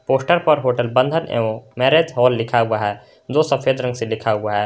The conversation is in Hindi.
पोस्टर पर होटल बंधन एवं मैरेज हॉल लिखा हुआ है जो सफेद रंग से लिखा हुआ है।